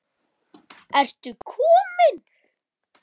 Ertu kominn!